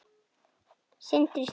Sindri Snær